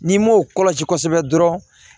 N'i m'o kɔlɔsi kosɛbɛ dɔrɔn